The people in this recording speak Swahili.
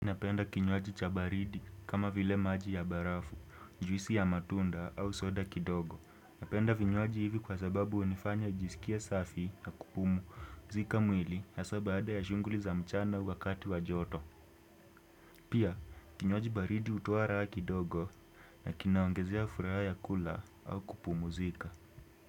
Napenda kinywaji cha baridi kama vile maji ya barafu, juisi ya matunda au soda kidogo. Napenda vinywaji hivi kwa sababu hunifanya jisikie safi na kupumzika mwili hasa baada ya shughuli za mchana wakati wa joto. Pia kinywaji baridi hutoa raha kidogo na kinaongezia furaha ya kula au kupumzika.